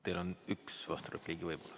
Teil on üks vasturepliigi võimalus.